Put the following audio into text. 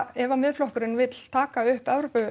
ef að Miðflokkurinn vill taka upp